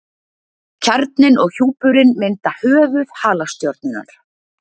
kjarninn og hjúpurinn mynda höfuð halastjörnunnar